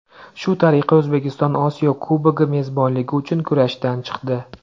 Shu tariqa O‘zbekiston Osiyo Kubogi mezbonligi uchun kurashdan chiqdi.